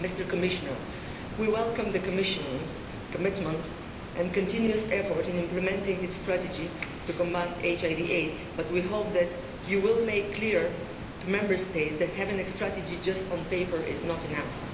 Commissioner, we welcome the Commission's commitment and continuous effort in implementing its strategy to combat HIV AIDS, but we hope that you will make clear to Member States that having a strategy just on paper is not enough.